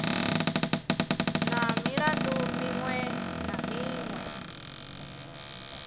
na milandu miṅwe na miṅwe